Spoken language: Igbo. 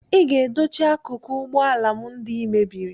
Ị ga-edochi akụkụ ụgbọ ala m ndị ị mebiri